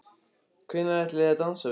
Hvenær ætlið þið að dansa við okkur?